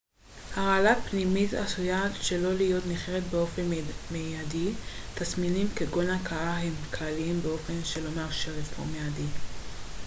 הרעלה פנימית עשויה שלא להיות ניכרת באופן מיידי תסמינים כגון הקאה הם כלליים באופן שלא מאפשר אבחון מיידי